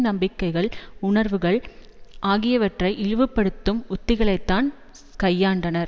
நம்பிக்கைகள் உண்வுகள் ஆகியவற்றை இழிவுபடுத்தும் உத்திகளைத்தான் கையாண்டனர்